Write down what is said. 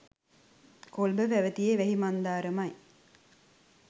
කොළඹ පැවැතියේ වැහි මන්දාරමයි.